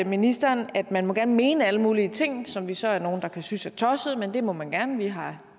ministeren at man gerne må mene alle mulige ting som vi så er nogle der kan synes er tosset men det må man gerne vi har